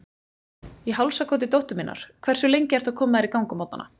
Í hálsakoti dóttur minnar Hversu lengi ertu að koma þér í gang á morgnanna?